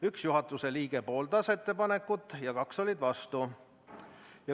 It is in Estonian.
Üks juhatuse liige pooldas ettepanekut ja kaks olid vastu.